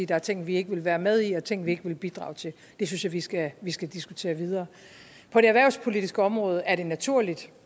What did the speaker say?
der er ting vi ikke vil være med i og ting vi ikke vil bidrage til det synes jeg vi skal vi skal diskutere videre på det erhvervspolitiske område er det naturligt